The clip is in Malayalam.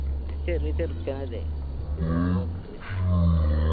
പിന്നെ ചെറിയ ചെറുക്കനല്ലേ ഓന്ക്ക് ഇന്യി എത്ര ഇണ്ട്